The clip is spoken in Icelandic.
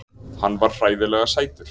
Hann var hræðilega sætur!